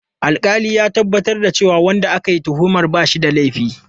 Alƙalin ya tabbatar da cewa wanda ake tuhumar ba shi da laifi.